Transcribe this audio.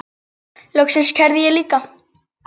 Loks kærði ég líka.